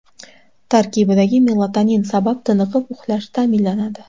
Tarkibidagi melatonin sabab tiniqib uxlash ta’minlanadi.